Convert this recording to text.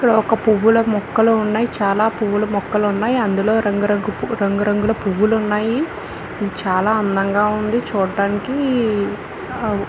ఇక్కడ ఒక్క పువ్వుల మొక్కలు ఉన్నాయి చాలా పువ్వుల మొక్కలున్నాయ్ అందులో రంగురంగుల పువ్వులు ఉన్నాయి ఇది చాలా అందంగా ఉంది చుటానికీ అ--